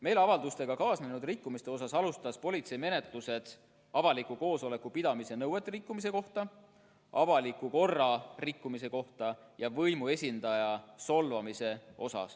" Meeleavaldustega kaasnenud rikkumiste osas alustas politsei menetlused seoses avaliku koosoleku pidamise nõuete rikkumisega, avaliku korra rikkumisega ja võimuesindaja solvamisega.